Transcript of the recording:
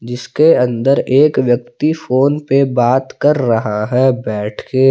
इसके अंदर एक व्यक्ति फोन पे बात कर रहा है बैठ के।